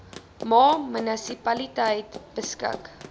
ma munisipaliteit beskik